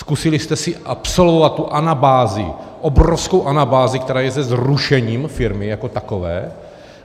Zkusili jste si absolvovat tu anabázi, obrovskou anabázi, která je se zrušením firmy jako takové?